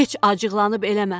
Heç acıqlanıb eləmə.